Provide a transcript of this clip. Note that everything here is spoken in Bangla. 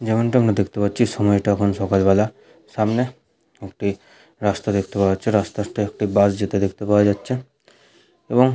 যেমনটা আমরা দেখতে পাচ্ছি সময়টা এখন সকালবেলা সামনে একটি রাস্তা দেখতে পাওয়া যাচ্ছে। রাস্তা দিয়ে একটা বাস যেতে দেখতে পাওয়া যাচ্ছে এবং--